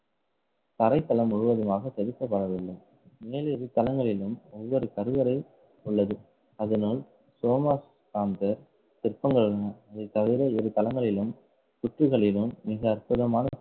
தரைத்தளம் முழுவதுமாக செதுக்கப்படவில்லை மேல் இரு தளங்களிலும் ஒவ்வொரு கருவறை உள்ளது. அதனால் சிற்பங்கள் உள்ளன. இதைத்தவிர இரு தளங்களிலும் மிக அற்புதமான